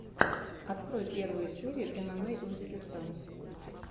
открой первую серию эмэмэй узбекистан